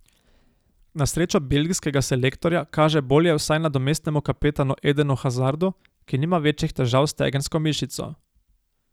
Na srečo belgijskega selektorja kaže bolje vsaj nadomestnemu kapetanu Edenu Hazardu, ki nima večjih težav s stegensko mišico.